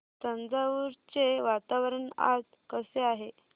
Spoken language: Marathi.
तंजावुर चे वातावरण आज कसे आहे